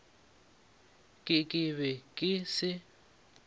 ke ke be ke se